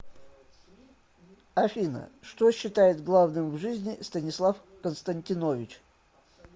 афина что считает главным в жизни станислав константинович